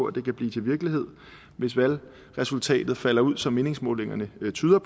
at det kan blive til virkelighed hvis valgresultatet falder ud som meningsmålingerne antyder